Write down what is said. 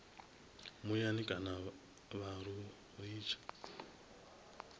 muyani kana vha lu litsha